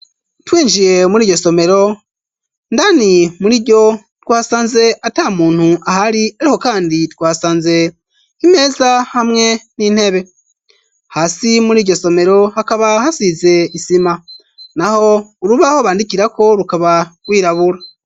Twinjiye muri iryo somero ndani muri iryo twasanze ata muntu ahari ariho kandi twasanze k'imeza hamwe n'intebe hasi muri iryo somero hakaba hasize isima naho urubaho bandikira ko rukaba rwirabura.